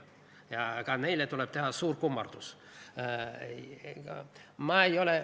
Ja ka neile tuleb teha suur kummardus.